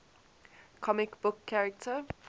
comic book character